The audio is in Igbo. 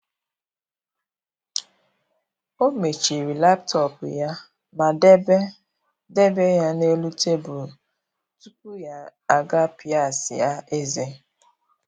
Ọ mechiri laptop ya ma debe debe ya n’elu tebụl tupu ya aga pịasịa ezé.